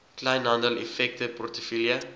kleinhandel effekte portefeulje